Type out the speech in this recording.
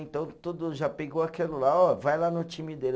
Então tudo já pegou aquilo lá, ó, vai lá no time dele.